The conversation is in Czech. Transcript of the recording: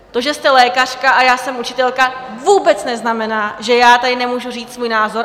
To, že jste lékařka a já jsem učitelka, vůbec neznamená, že já tady nemůžu říct svůj názor.